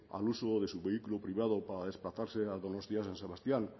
al uso de su vehículo privado para desplazarse a donostia san sebastián